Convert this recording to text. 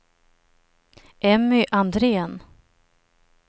Emmy Andrén